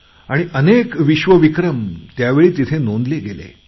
आणि अनेक विश्वविक्रम त्यावेळी नोंदले गेले